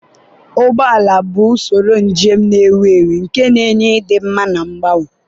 ụgbọ ala bụ usoro njem na-ewu ewu nke na-enye ịdị mma na mgbanwe.